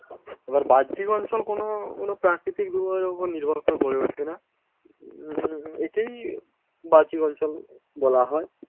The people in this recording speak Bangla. এবার বাহ্যিক অঞ্চল কোনও প্রাকৃতিক দুর্যোগের উপর নির্ভর করে গড়ে উঠে না। উম একেই বাহ্যিক অঞ্চল বলা হয়।